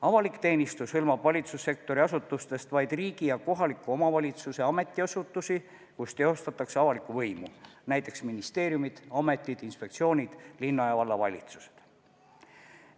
Avalik teenistus hõlmab valitsussektori asutustest vaid riigi ja kohaliku omavalitsuse ametiasutusi, kus teostatakse avalikku võimu: näiteks ministeeriumid, ametid, inspektsioonid, linna- ja vallavalitsused.